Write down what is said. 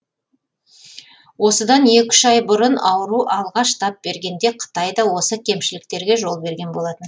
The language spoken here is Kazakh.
осыдан екі үш ай бұрын ауру алғаш тап бергенде қытай да осы кемшіліктерге жол берген болатын